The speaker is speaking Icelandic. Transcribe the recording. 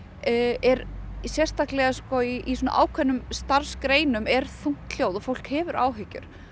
er í sérstaklega í svona ákveðnum starfsgreinum er þungt hljóð og fólk hefur áhyggjur